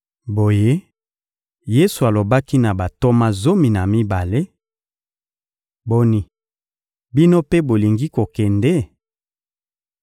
Boye, Yesu alobaki na bantoma zomi na mibale: — Boni, bino mpe bolingi kokende?